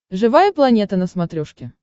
живая планета на смотрешке